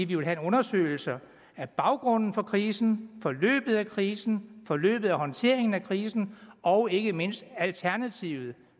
vi vil have en undersøgelse af baggrunden for krisen forløbet af krisen forløbet af håndteringen af krisen og ikke mindst alternativet